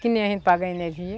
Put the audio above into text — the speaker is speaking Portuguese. Que nem a gente paga a energia.